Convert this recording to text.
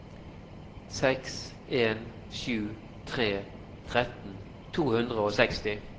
seks en sju tre tretten to hundre og seksti